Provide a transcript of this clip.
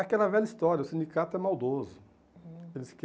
Aquela velha história, o sindicato é maldoso. Uhum eles